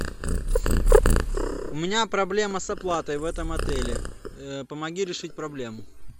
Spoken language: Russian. у меня проблема с оплатой в этом отеле помоги решить проблему